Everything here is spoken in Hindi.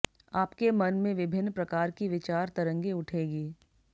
आपके मन में विभिन्न प्रकार की विचार तरंगे उठेगी